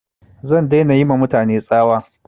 Zan dai na yi ma mutane tsawa